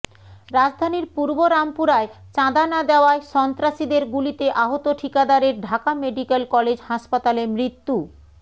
রাজধানীর পূর্ব রামপুরায় চাঁদা না দেওয়ায় সন্ত্রাসীদের গুলিতে আহত ঠিকাদারের ঢাকা মেডিকেল কলেজ হাসপাতালে মৃত্যু